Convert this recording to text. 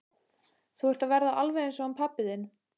Þú ert að verða alveg eins og hann pabbi þinn.